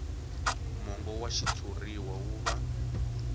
mongo wa xitshuriwa wu va